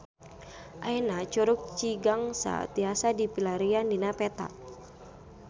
Ayeuna Curug Cigangsa tiasa dipilarian dina peta